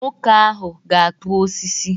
Nwoke ahụ ga-akpụ osisi.